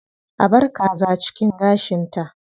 A bar kaza cikin gashinta.